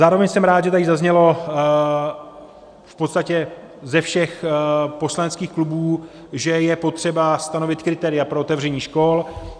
Zároveň jsem rád, že tady zaznělo v podstatě ze všech poslaneckých klubů, že je potřeba stanovit kritéria pro otevření škol.